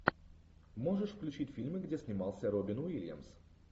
можешь включить фильмы где снимался робин уильямс